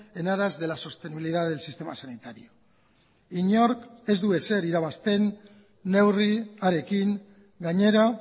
en aras de la sostenibilidad del sistema sanitario inork ez du ezer irabazten neurriarekin gainera